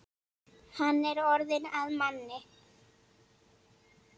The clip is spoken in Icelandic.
Hann er orðinn að manni.